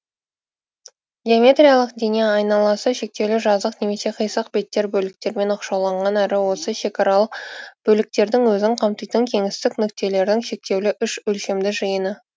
геометриялық дене айналасы шектеулі жазық немесе қисық беттер бөліктерімен оқшауланған әрі осы шекаралық бөліктердің өзін қамтитын кеңістік нүктелердің шектеулі үш өлшемді жиыны